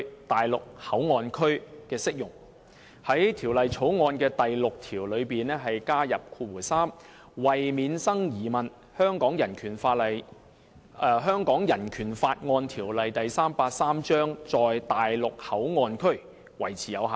他於《廣深港高鐵條例草案》的第6條加入新訂第3款，以訂明﹕為免生疑問，《香港人權法案條例》在內地口岸區維持有效。